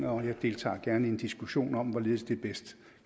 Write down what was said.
og jeg deltager gerne i en diskussion om hvorledes det bedst